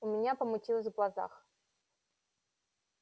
у меня помутилось в глазах